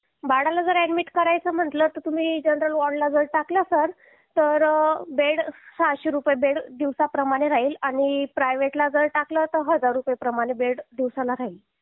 बाळाला जर ऍडमिट करायचं म्हणलं तर तुम्ही जनरल वॉर्ड ला जर टाकलं सर तर बेड सहाशे रुपये बेड दिवसाप्रमाणे राहील आणि प्रायव्हेट ला जर टाकलं तर हजार रुपये प्रमाणे बेड दिवसाला राहील